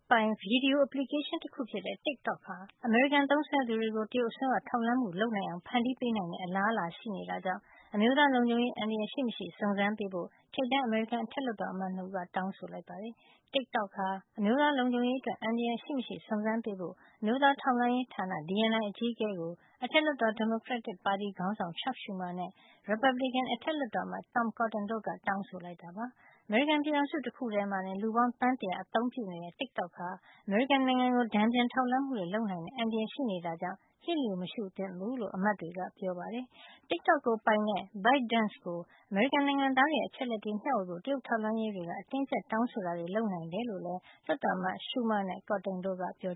ပိုင် ဗီဒီယို application တခုဖြစ်တဲ့ TikTok ဟာ အမေရိကန်သုံးစွဲသူတွေကို တရုတ်အစိုးရ ထောက်လှမ်းမှုလုပ်နိုင်အောင် ဖန်တီးပေးနိုင်တဲ့ အလားလာရှိနေတာကြောင့် အမျိုးသားလုံခြုံရေး အန္တရာယ် ရှိမရှိ စုံစမ်းပေးဖို့ ထိပ်တန်း အမေရိကန်အထက်လွှတ်တော် အမတ် ၂ ဦးက တောင်းဆို လိုက်ပါတယ်။ TikTok ဟာ အမျိုးသားလုံခြုံရေးအတွက် အန္တရာယ်ရှိမရှိ စုံစမ်းပေးဖို့ အမျိုးသားထောက်လှမ်းရေးဌာန DNI အကြီးအကဲကို အထက်လွှတ်တော် ဒီမိုကရက်တစ်ပါတီ ခေါင်းဆောင် Chuck Schumer နဲ့ ရီပတ်ဘလစ်ကင် အထက်လွှတ်တော်အမတ် Tom Cotton တို့က တောင်းဆိုလိုက်တာပါ။ အမေရိကန်ပြည်ထောင်စု တခုထဲမှာတင် လူပေါင်း သန်း ၁၁၀ အသုံးပြုနေတဲ့TikTok ဟာ အမေရိကန်နိုင်ငံကို တန်ပြန်ထောက်လှန်းမှုတွေ လုပ်နိုင်တဲ့ အန ္တရာယ်ရှိနေတာကြောင့် လျှစ်လျူမရှုသင့်ဘူးလို့ အမတ်တွေက ပြောပါတယ်။ TikTok ကိုပိုင်တဲ့ByteDance ဟာ အမေရိကန်နိုင်ငံသားတွေရဲ့ အချက်အလက်တွေ မျှဝေဖို့ တရုတ်ထောက်လှမ်းရေးတွေက အတင်းအကြပ် တောင်းဆိုတာတွေ လုပ်နိုင်တယ်လို့လည်း လွှတ်တော်အမတ် Schumer နဲ့ Cotton တို့က ပြော